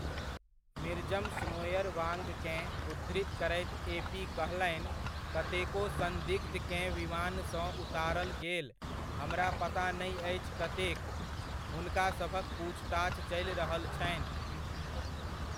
मिर्जम स्नोएरवांगकेँ उद्धृत करैत एपी कहलनि कतेको संदिग्धकेँ विमानसँ उतारल गेल हमरा पता नहि अछि कतेक, हुनका सभक पूछताछ चलि रहल छनि।